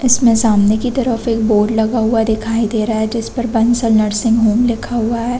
इसमें सामने की तरफ बोर्ड लगा हुआ दिखाई दे रहा है उस पर बंसल नर्सिंग होम लिखा हुआ है।